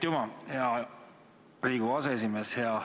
Aitüma, hea Riigikogu aseesimees!